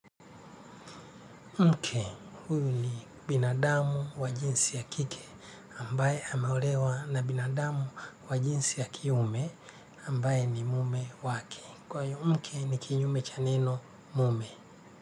Mke huyu ni binadamu wa jinsi ya kike ambaye hameolewa na binadamu wa jinsi ya kiume ambaye ni mume wake. Kwa yu mke ni kinyume cha neno mume.